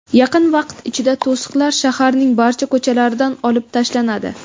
Yaqin vaqt ichida to‘siqlar shaharning barcha ko‘chalaridan olib tashlanadi.